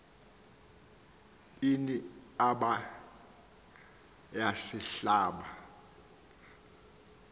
ini aaba yasihlaba